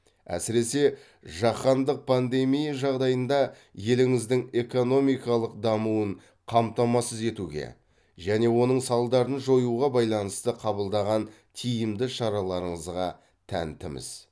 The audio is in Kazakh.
әсіресе жаһандық пандемия жағдайында еліңіздің экономикалық дамуын қамтамасыз етуге және оның салдарын жоюға байланысты қабылдаған тиімді шараларыңызға тәнтіміз